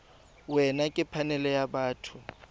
wena ke phanele ya batho